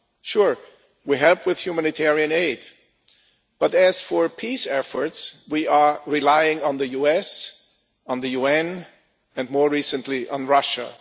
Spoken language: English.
Sure, we help with humanitarian aid but, as for peace efforts, we are relying on the US, the UN and, more recently, on Russia.